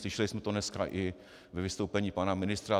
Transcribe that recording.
Slyšeli jsme to dneska i ve vystoupení pana ministra.